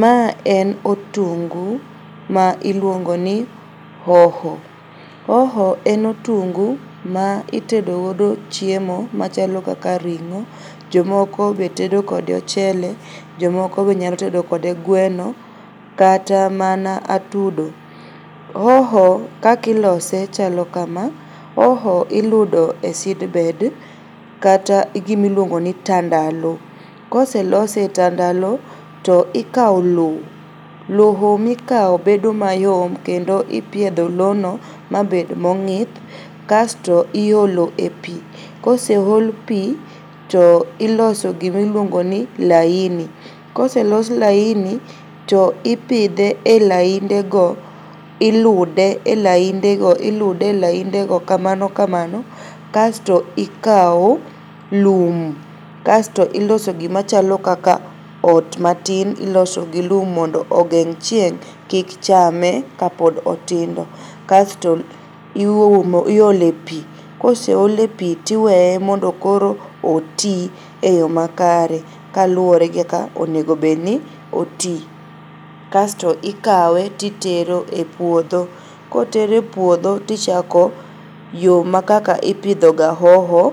Ma en otungu ma iluongoni hoho. Hoho en otungu ma itedo godo chiemo machalo kaka ring'o. Jomoko be tedo kode ochele. Jomoko be nyalo tedo kode gweno kata mana atudo. Hoho kakilose chalo kama, hoho iludo e seed bed kata gimiluongoni tandalo. Koselose e tandalo to ikao loo. Loo mikao bedo mayom kendo ipiedho loo no mabed mang'ith kasto iolo e pii. Koseol pii to iloso gimiluongoni laini. Koselos laini to ipidhe e laindego, ilude e laindego kamano kamano kasto ikao lum kasto iloso gimachalo kaka ot matin iloso gi lum mondo ogeng' chieng' kik chame ka pod otindo. Kasto iumo, iole pii koseole pii tiweye mondo koro otii e yo makare kaluore gi kaka onegobedni otii kasto ikawe titero e puodho. Kotere puodho tichako yooma kaka ipidhoga hoho